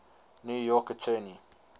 new york attorney